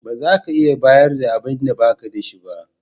Ba za ka iya bayar da abinda ba ka da shi ba.